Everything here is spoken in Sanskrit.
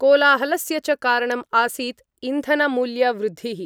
कोलाहलस्य च कारणम् आसीत् इन्धनमूल्यवृद्धिः।